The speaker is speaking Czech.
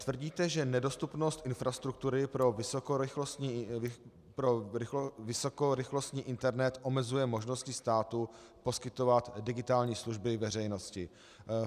Tvrdíte, že nedostupnost infrastruktury pro vysokorychlostní internet omezuje možnosti státu poskytovat digitální služby veřejnosti.